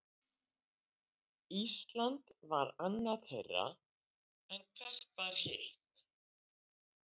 Ísland var annað þeirra, en hvert var hitt?